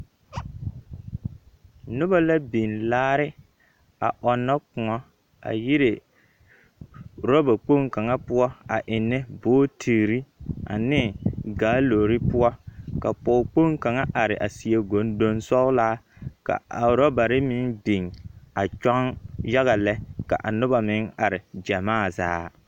Noba la biŋ laare a ɔnnɔ kõɔ yire orɔba kpoŋ kaŋa poɔ a ennɛ bootiri ane gaalori poɔka pɔge kpoŋ kaŋa are a seɛ gondoŋ sɔgelaa ka aorabare meŋ biŋa kyɔŋ yaga lɛ ka anoba meŋare gyamaazaa.